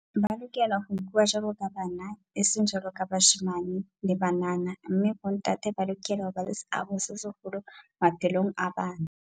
Ba lokela ho nkuwa jwaloka bana, eseng jwaloka bashemane le banana mme bontate ba lokela ho ba le seabo se seholo maphelong a bana.